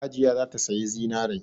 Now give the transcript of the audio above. Hajiya za ta sayi zinarai.